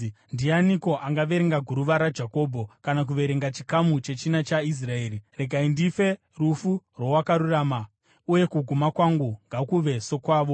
Ndianiko angaverenga guruva raJakobho kana kuverenga chikamu chechina chaIsraeri? Regai ndife rufu rwowakarurama, uye kuguma kwangu ngakuve sokwavo!”